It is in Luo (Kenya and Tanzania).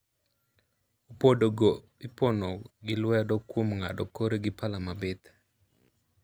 Opodo go ipono gi lwedo kuom ngado kore gi pala mabith.